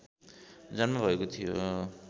जन्म भएको थियो